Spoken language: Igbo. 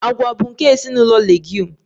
Agwa bụ nke ezinụlọ Leguum